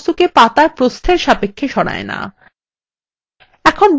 এটি বস্তুকে পাতারপ্রস্থের সাপেক্ষে সরায় না